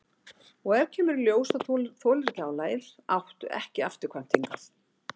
Og ef í ljós kemur að þú þolir ekki álagið áttu ekki afturkvæmt hingað.